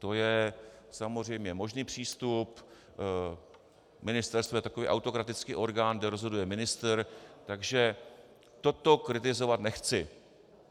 To je samozřejmě možný přístup, ministerstvo je takový autokratický orgán, kde rozhoduje ministr, takže toto kritizovat nechci.